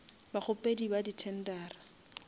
bakgopedi ba di tendera